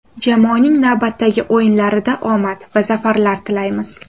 Jamoaning navbatdagi o‘yinlarida omad va zafarlar tilaymiz.